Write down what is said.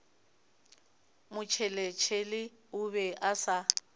motšheletšhele o be a sa